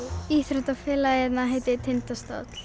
íþróttafélagið hérna heitir Tindastóll